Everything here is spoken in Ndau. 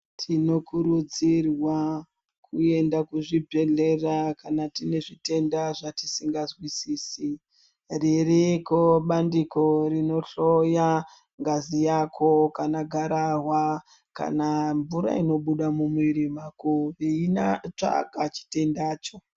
Tinokurudzirwa kuenda kuzvibhedhlera kana tiine zvitenda zvatisingazwisisi ririko bandiko rinohloya ngazi yako kana gararwa , kana mvura inobuda mumuvirir mako eitsvaka chitendacho.